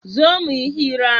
zo muyi hira!